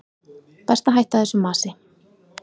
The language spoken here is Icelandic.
Best að hætta þessu masi.